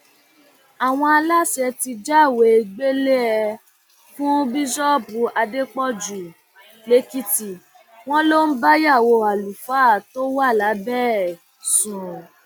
àwọn aláṣẹ ti jáwèé gbélé ẹ fún bíṣọọbù adépọjú lẹkìtì wọn ló ń báyàwó àlùfáà tó wà lábẹ ẹ sùn